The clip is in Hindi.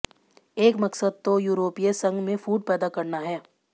एक मक़सद तो युरोपीय संघ में फूट पैदा करना है